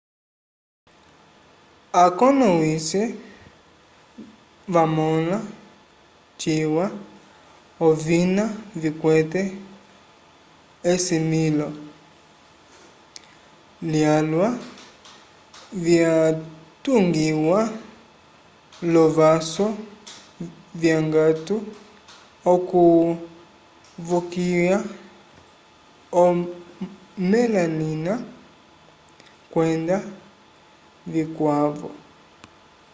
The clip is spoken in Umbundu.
akonomwise vamõla ciwa ovina vikwete esilivilo lyalwa vyatungiwa l'ovãsu vyongato okuvokiya omelanina kwenda vikwavo